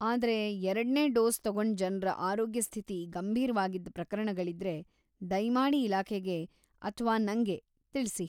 ಆದ್ರೆ, ಎರಡ್ನೇ ಡೋಸ್‌ ತಗೊಂಡ ಜನ್ರ ಆರೋಗ್ಯ ಸ್ಥಿತಿ ಗಂಭೀರ್ವಾಗಿದ್ದ ಪ್ರಕರಣಗಳಿದ್ರೆ ದಯ್ಮಾಡಿ ಇಲಾಖೆಗೆ ಅಥ್ವಾ ನಂಗೆ ತಿಳ್ಸಿ.